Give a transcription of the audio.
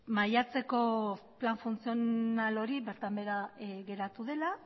maiatzeko plan funtzional hori bertan behera geratu dela